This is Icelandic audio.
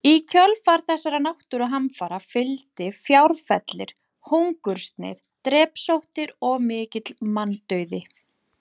Í kjölfar þessara náttúruhamfara fylgdi fjárfellir, hungursneyð, drepsóttir og mikill manndauði.